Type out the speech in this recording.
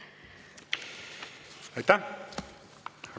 Aitäh!